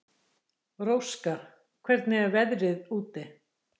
Róska, hvernig er veðrið úti?